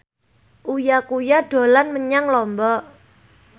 Uya Kuya dolan menyang Lombok